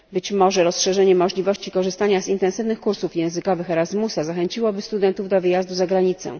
Być może rozszerzenie możliwości korzystania z intensywnych kursów językowych Erasmusa zachęciłoby studentów do wyjazdu za granicę.